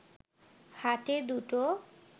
হাটে দুটো